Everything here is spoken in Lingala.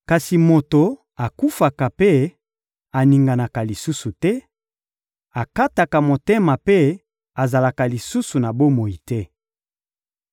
Kasi moto akufaka mpe aninganaka lisusu te, akataka motema mpe azalaka lisusu na bomoi te.